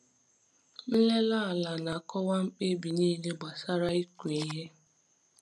Nlele ala na-akọwa mkpebi niile gbasara ịkụ ihe.